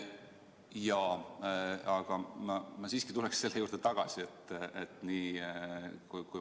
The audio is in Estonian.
Jaa, aga ma siiski tuleksin selle juurde tagasi.